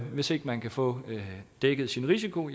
hvis ikke man kan få dækket sin risiko